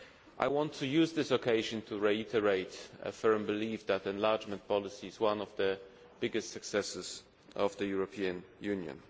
I want to use this occasion to reiterate a firm belief that enlargement policy is one of the biggest successes of the European Union.